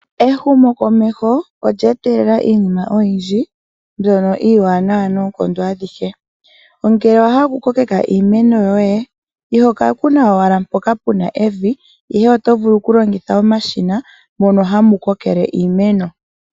Ehumokomeho olye etelela iinima oyindji mbyono iiwanawa noonkondo adhihe onkee owa hala okukokeka iimeno yoye iho ka kuna owala mpoka pu na evi ashike oto vulu okulongitha omashina mono hamu kokele iimeno.